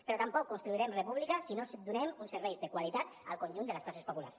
però tampoc construirem república si no donem uns serveis de qualitat al conjunt de les classes populars